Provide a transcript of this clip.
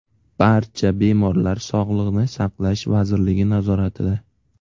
Barcha bemorlar Sog‘liqni saqlash vazirligi nazoratida.